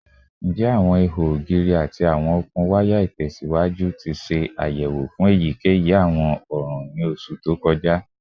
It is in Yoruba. Njẹ awọn iho ogiri ati awọn okun waya itẹsiwaju ti ṣe ayẹwo fun eyikeyi awọn ọran ni oṣu to kọja?